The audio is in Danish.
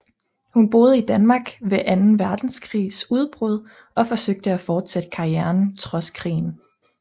Hun boede i Danmark ved anden verdenskrigs udbrud og forsøgte at fortsætte karrieren trods krigen